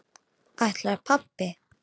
Ætlar pabbi?